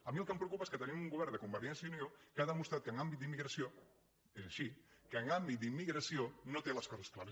a mi el que em preocupa és que tenim un govern de convergència i unió que ha demostrat que en àmbit d’immigració és així que en àmbit d’immigració no té les coses clares